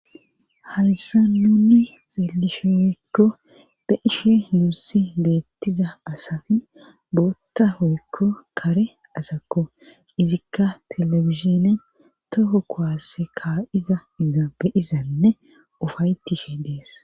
hayssa nunne xeelishe oykko be ishe hunusse beettiza asati bootta hoykko kare asakko izikka telefizine toho kowasse kaa7iza iza beyizanne ufaytishe dees